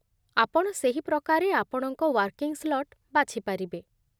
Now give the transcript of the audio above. ଆପଣ ସେହି ପ୍ରକାରେ ଆପଣଙ୍କ ୱାର୍କିଂ ସ୍ଲଟ୍ ବାଛିପାରିବେ